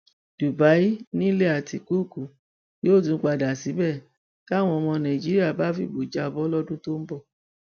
dubai nílẹ àtikukù yóò tún padà síbẹ táwọn ọmọ nàìjíríà bá fìbò já a bọ lọdún tó ń bọ